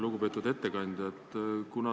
Lugupeetud ettekandja!